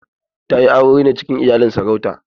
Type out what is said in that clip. Ta yi aure ne cikin iyalin sarauta.